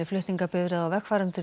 flutningabifreið á vegfarendur